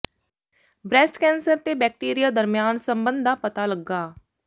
breast cancer ਤੇ bacteria ਦਰਮਿਆਨ ਸਬੰਧ ਦਾ ਪਤਾ ਲੱਗਾ